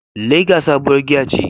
Lager sabuwar giya ce.